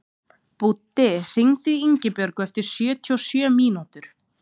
Búddi, hringdu í Ingibjörtu eftir sjötíu og sjö mínútur.